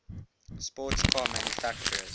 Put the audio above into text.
sports car manufacturers